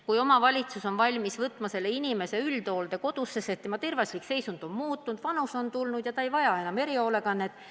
Kui omavalitsus on valmis võtma selle inimese üldhooldekodusse, sest tema tervislik seisund on muutunud ja ta on ka vanaks saanud, siis ta ei vaja enam erihoolekannet.